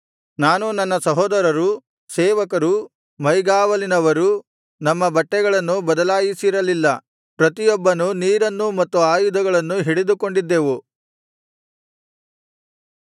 ನಾನೂ ನನ್ನ ಸಹೋದರರೂ ಸೇವಕರೂ ಮೈಗಾವಲಿನವರೂ ನಮ್ಮ ಬಟ್ಟೆಗಳನ್ನು ಬದಲಾಯಿಸಿರಲಿಲ್ಲ ಪ್ರತಿಯೊಬ್ಬನು ನೀರನ್ನು ಮತ್ತು ಆಯುಧಗಳನ್ನು ಹಿಡಿದುಕೊಂಡಿದ್ದೆವು